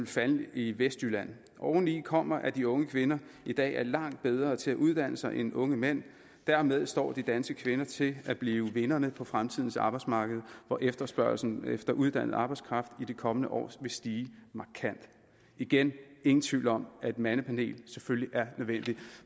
falde i vestjylland oveni kommer at de unge kvinder i dag er langt bedre til at uddanne sig end de unge mænd dermed står de danske kvinder til at blive vinderne på fremtidens arbejdsmarked hvor efterspørgslen efter uddannet arbejdskraft i de kommende år stiger markant igen ingen tvivl om at et mandepanel selvfølgelig er nødvendigt